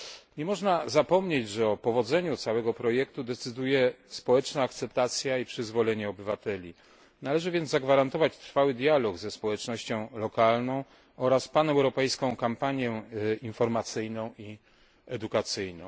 Nie można zapomnieć, że o powodzeniu całego projektu decyduje społeczna akceptacja i przyzwolenie obywateli. Należy więc zagwarantować trwały dialog ze społecznością lokalną oraz paneuropejską kampanię informacyjną i edukacyjną.